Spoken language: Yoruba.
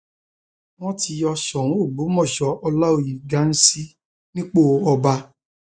wọn ti yọ sóun ọgbọmọṣẹ ọláòyé ghansi nípò ọba